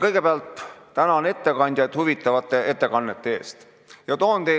Kõigepealt tänan ettekandjaid huvitavate ettekannete eest!